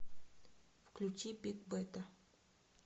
включи бигбэта